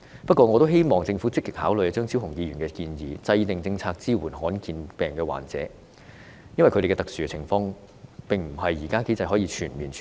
不過，我希望政府積極考慮張超雄議員的建議，制訂政策支持罕見病患者，因為他們的特殊情況在現時機制下未能獲得全面處理。